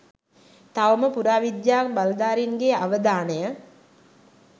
තවම පුරාවිද්‍යා බලධාරීන්ගේ අවධානය